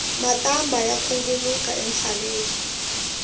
matambha ya khunguluka entshaveni